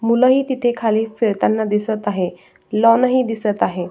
मूल ही तिथे खाली फिरताना दिसत आहे लॉन ही दिसत आहे.